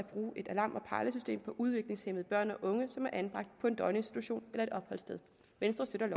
et alarm og pejlesystem på udviklingshæmmede børn og unge som er anbragt på døgninstitution eller